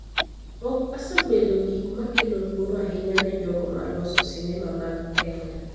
ok osebedo gik ma kelo luoro ahinya ne jogo ma loso sinema mag Kenya.